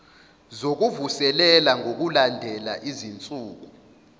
zokuvuselela ngokulandela izinsuku